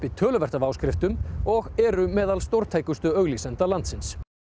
töluvert af áskriftum og eru meðal auglýsenda landsins